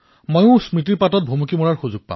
মোৰো কিছু স্মৃতি ৰোমন্থন হব